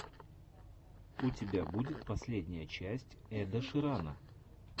у тебя будет последняя часть эда ширана